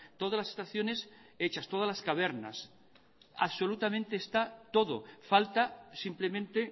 todas las estaciones hechas todas las cavernas absolutamente está todo falta simplemente